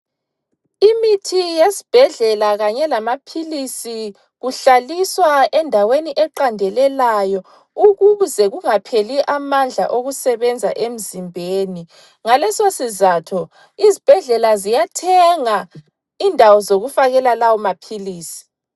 Imithi yesibhedlela kanye lamaphilisi kuhlaliswa endaweni eqandelelayo ukuze kungapheli amandla okusebenza emzimbeni. Ngaleso sizatho, izibhedlela ziyathenga indawo zokufakela lawo maphilisi.